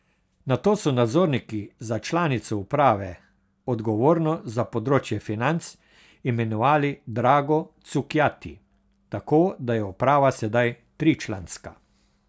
Nato so nadzorniki za članico uprave, odgovorno za področje financ, imenovali Drago Cukjati, tako da je uprava sedaj tričlanska.